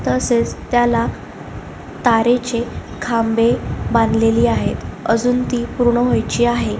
तसेच त्याला तारेचे खांबे बांधलेली आहेत अजुन ती पूर्ण होयची आहे.